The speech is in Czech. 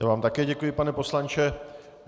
Já vám také děkuji, pane poslanče.